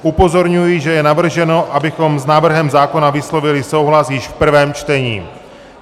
Upozorňuji, že je navrženo, abychom s návrhem zákona vyslovili souhlas již v prvém čtení.